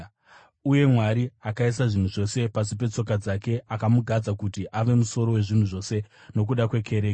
Uye Mwari akaisa zvinhu zvose pasi petsoka dzake akamugadza kuti ave musoro wezvinhu zvose nokuda kwekereke,